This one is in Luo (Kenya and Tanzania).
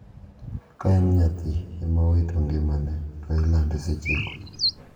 Ka en nyathi ema owito ngimane to ilande sechego.